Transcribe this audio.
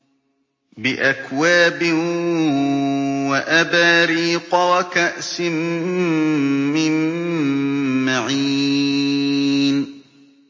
بِأَكْوَابٍ وَأَبَارِيقَ وَكَأْسٍ مِّن مَّعِينٍ